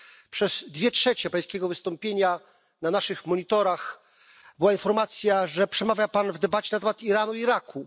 Przez dwie trzecie Pańskiego wystąpienia na naszych monitorach była informacja, że przemawia Pan w debacie na temat Iranu i Iraku.